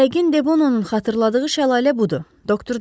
Yəqin Debononun xatırladığı şəlalə budur, doktor dedi.